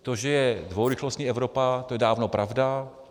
To, že je dvourychlostní Evropa, to je dávno pravda.